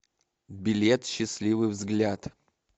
билет счастливый взгляд